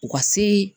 U ka se